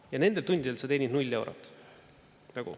Ja nendel tundidel sa teenid null eurot.